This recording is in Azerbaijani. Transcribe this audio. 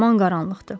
Yaman qaranlıqdır.